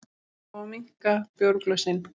Fá að minnka bjórglösin